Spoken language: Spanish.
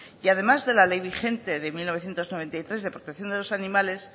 y además de la ley vigente de mil novecientos noventa y tres de protección de los animales